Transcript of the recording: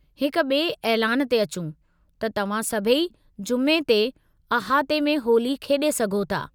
हिक ॿे ऐलान ते अचूं, त तव्हां सभई जुमे ते अहाते में होली खेॾे सघो था।